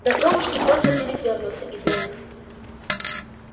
да вдовушки просто передёрнутся из-за них